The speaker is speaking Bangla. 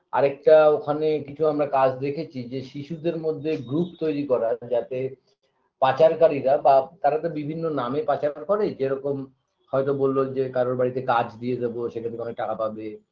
আরেকটা ওখানে কিছু আমরা কাজ দেখেছি যে শিশুদের মধ্যে group তৈরি করা যাতে পাচারকারীরা বা তারা তো বিভিন্ন নামে পাচার করে যেরকম হয়তো বললো যে কারোর বাড়িতে কাজ দিয়ে দেব সেখান থেকে অনেক টাকা পাবে